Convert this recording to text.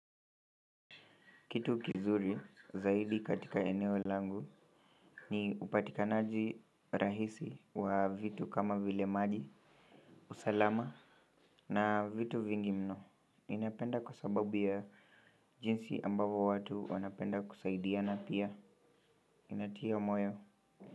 Kitu kizuri zaidi katika eneo langu ni upatikanaji rahisi wa vitu kama vile maji, usalama na vitu vingi mno. Ninapenda kwa sababu ya jinsi ambavo watu wanapenda kusaidia na pia. Inatia moyo.